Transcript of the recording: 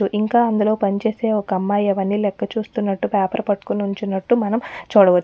ఇంకా అందులో పనిచేసే ఒక్క అమ్మాయి అవ్వని లెక్క చూస్తున్నటు పాపేర్ పట్టుకొని నిల్చున్నటు మనం చూడచ్చు.